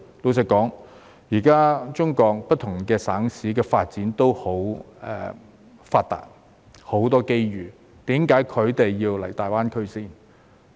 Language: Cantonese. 老實說，現在中國不同省市的發展也很發達，亦有很多機遇，為何他們要到大灣區呢？